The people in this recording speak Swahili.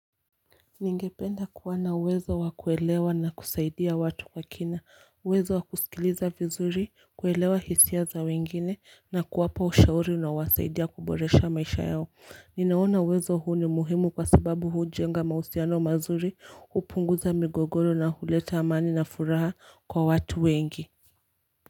Ningependa kuwana uwezo wakuelewa na kusaidia watu kwa kina, uwezo wakusikiliza vizuri, kuelewa hisia za wengine, na kuwapa ushauri unao wasaidia kumboresha maisha yao. Ninaona uwezo huu ni muhimu kwa sababu huu jenga mausiano mazuri upunguza migogoro na huleta amani na furaha kwa watu wengi.